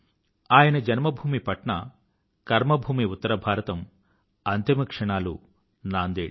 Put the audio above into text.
ఆయన జన్మభూమి పట్నా కర్మ భూమి ఉత్తర భారతం అంతిమ క్షణాలు నాందేడ్